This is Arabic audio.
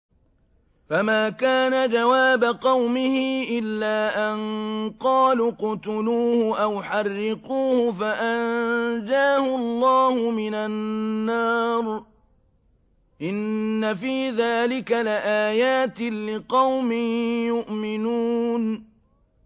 فَمَا كَانَ جَوَابَ قَوْمِهِ إِلَّا أَن قَالُوا اقْتُلُوهُ أَوْ حَرِّقُوهُ فَأَنجَاهُ اللَّهُ مِنَ النَّارِ ۚ إِنَّ فِي ذَٰلِكَ لَآيَاتٍ لِّقَوْمٍ يُؤْمِنُونَ